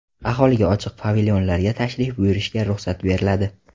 Aholiga ochiq pavilyonlarga tashrif buyurishga ruxsat beriladi.